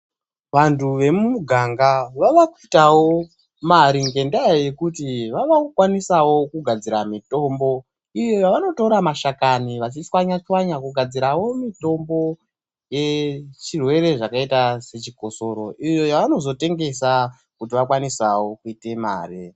Antu emuganga vave kuitawo mari ngendaa yekuti vave kukwanisawo kugadzirawo mitombo vachitora mashakani vachichwanya chwanya vachigadzirawo mitombo yezvirwere zvakaita sechikosoro iyo yavanozotengesa kuti vakwanisewo kuita mari.